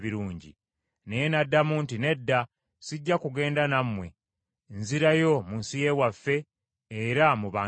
Naye n’addamu nti, “Nedda, sijja kugenda nammwe, nzirayo mu nsi ye waffe era mu bantu bange.”